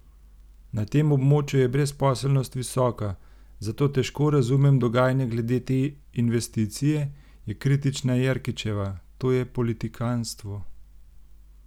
Na tem območju je brezposelnost visoka, zato težko razumem dogajanje glede te investicije, je kritična Jerkičeva: "To je politikanstvo.